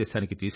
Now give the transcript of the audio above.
Vande Mataram